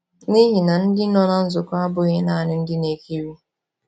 N’ihi na ndị nọ na nzukọ abụghị nanị ndị na-ekiri.